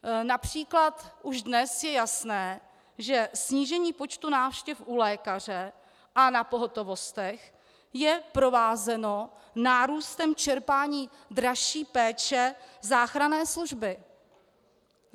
Například už dnes je jasné, že snížení počtu návštěv u lékaře a na pohotovostech je provázeno nárůstem čerpání dražší péče záchranné služby.